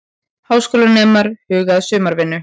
Háskólanemar huga að sumarvinnu